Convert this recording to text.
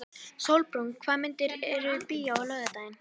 Sólbrún, hvaða myndir eru í bíó á laugardaginn?